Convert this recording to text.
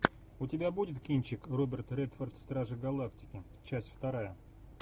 у тебя будет кинчик роберт редфорд стражи галактики часть вторая